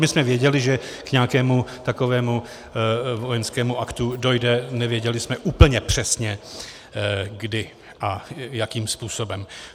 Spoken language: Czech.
My jsme věděli, že k nějakému takovému vojenskému aktu dojde, nevěděli jsme úplně přesně kdy a jakým způsobem.